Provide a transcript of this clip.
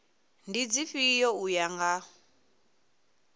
ndi dzifhio u ya nga